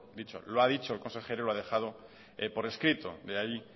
dicho lo ha dicho el consejero y lo ha dejado por escrito de ahí